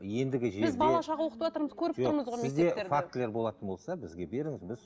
ендігі жерде біз бала шаға оқытып отырмыз көріп тұрмыз ғой мектептерде сізде фактілер болатын болса бізге беріңіз біз